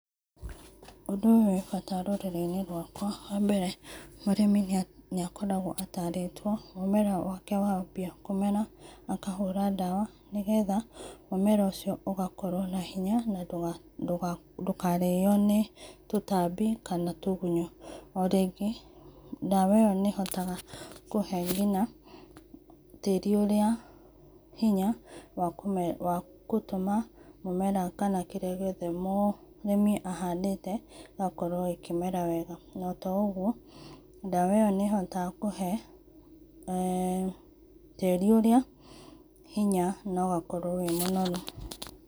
Undũ ũyũ wĩ bata rũrĩrĩ inĩ rwakwa wa mbere mũrĩmi nĩakoragwo ataratwo mũmera wake wambia kũmera akahũra ndawa nĩ getha mũmera ũcĩo ũgakorwo na hĩnya na ndũkarĩo nĩ tũtambĩ kana tũgũnyũ, o rĩngĩ ndawa ĩyo nĩ hotaga kũhe ngĩnya tarĩ ũrĩa hĩnya wa gũtũma mũmera kana kĩrĩa gĩothe mũrĩmĩ ahandĩte gĩgakorwo gĩkĩmera wega na to ogũo ndawa ĩyo nĩ hotaga kũhe[eeh] tĩri ũrĩa hĩnya nĩ ũgakorwo wĩ mũnorũ.